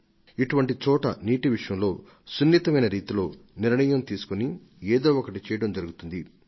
కాబట్టి ఇటువంటి చోట్ల వారు నీళ్ల విషయంలో ఎంతో జాగ్రత్తలతో ఉంటారు ఇంకా నీటి కరవును తట్టుకోవడానికి ఏదో ఒకటి చేయడంలో జరుగుతుంది